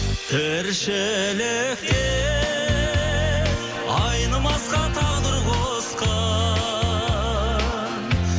тіршілікте айнымасқа тағдыр қосқан